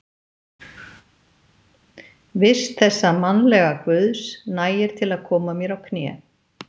vist þessa mannlega guðs, nægir til að koma mér á kné.